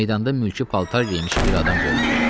Meydanda mülki paltar geyinmiş bir adam göründü.